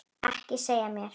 Ekki segja mér